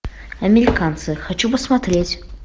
американцы хочу посмотреть